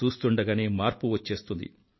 చూస్తూండగానే మార్పు వచ్చేస్తుంది